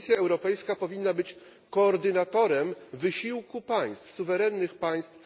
Komisja Europejska powinna być koordynatorem wysiłku państw, suwerennych państw.